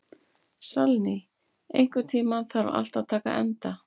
Salný, einhvern tímann þarf allt að taka enda.